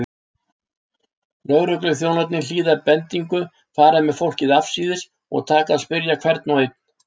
Lögregluþjónarnir hlýða bendingu, fara með fólkið afsíðis og taka að spyrja hvern og einn.